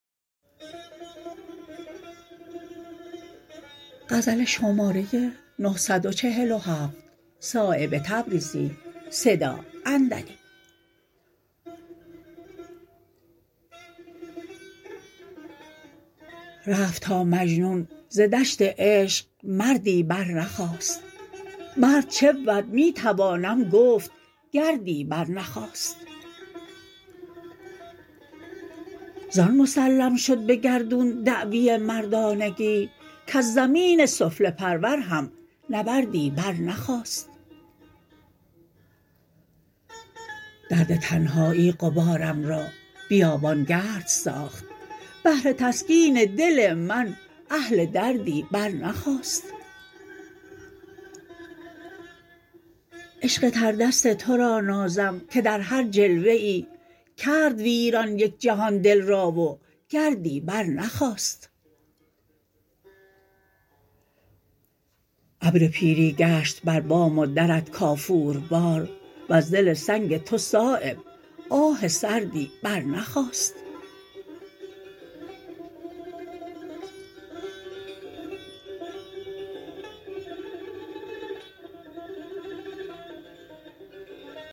رفت تا مجنون ز دشت عشق مردی برنخاست مرد چبود می توانم گفت گردی برنخاست زان مسلم شد به گردون دعوی مردانگی کز زمین سفله پرور هم نبردی برنخاست درد تنهایی غبارم را بیابانگرد ساخت بهر تسکین دل من اهل دردی برنخاست عشق تردست ترا نازم که در هر جلوه ای کرد ویران یک جهان دل را و گردی برنخاست ابر پیری گشت بر بام و درت کافور بار وز دل سنگ تو صایب آه سردی برنخاست